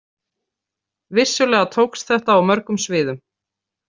Vissulega tókst þetta á mörgum sviðum.